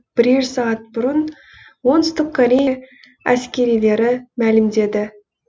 бірер сағат бұрын оңтүстік корея әскерилері мәлімдеді